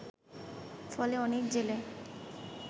ফলে অনেক জেলে